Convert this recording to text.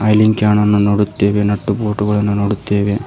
ನೀರಿನ್ ಕ್ಯಾನನ್ನು ನೋಡುತ್ತೇವೆ ನಟ್ಟು ಬೋಲ್ಟು ಗಳನ್ನು ನೋಡುತ್ತೇವೆ.